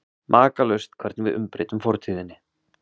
Makalaust hvernig við umbreytum fortíðinni.